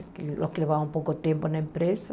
Os que levavam pouco tempo na empresa.